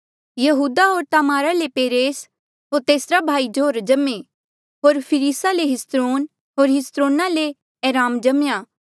यहूदा होर तामारा ले पेरेस होर तेसरा भाई जोरह जम्मे होर फिरिसा ले हिस्रोन होर हिस्रोना ले एराम जम्मेया